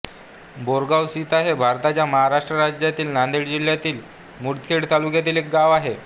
बोरगावसीता हे भारताच्या महाराष्ट्र राज्यातील नांदेड जिल्ह्यातील मुदखेड तालुक्यातील एक गाव आहे